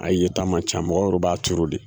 A ye ta man ca mɔgɔ wɛrɛ b'a turu de